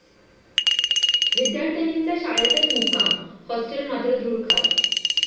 विद्यार्थिनींचा शाळेतच मुक्काम होस्टेल मात्र धूळ खात!